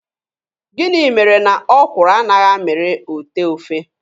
Gịnị mere na ọkwụrụ anaghị amịrị otee ofe.